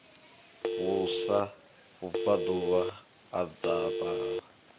vhusa vhubvaḓuvha ha dzaṱa o